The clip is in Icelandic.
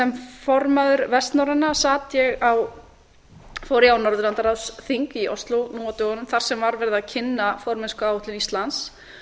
sem formaður vestnorræna fór ég á norðurlandaráðsþing í og fleiri nú á dögunum þar sem var verið að kynna formennskuáætlun íslands